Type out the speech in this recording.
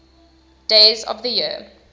days of the year